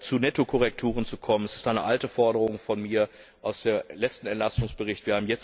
Zu Nettokorrekturen zu kommen, das ist eine alte Forderung von mir, aus dem letzten Entlastungsbericht.